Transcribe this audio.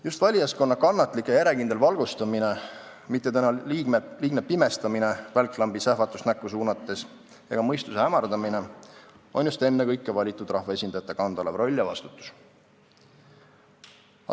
Just valijaskonna kannatlik ja järjekindel valgustamine – mitte tema liigne pimestamine välklambi sähvatust näkku suunates ega mõistuse hämardamine – on ennekõike valitud rahvaesindajate kanda olev roll ja vastutus.